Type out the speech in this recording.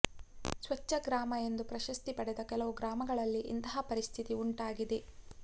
ಸ್ವಚ್ಚ ಗ್ರಾಮ ಎಂದು ಪ್ರಶಸ್ತಿ ಪಡೆದ ಕೆಲವು ಗ್ರಾಮಗಳಲ್ಲಿ ಇಂತಹ ಪರಿಸ್ಥಿತಿ ಉಂಟಾಗಿದೆ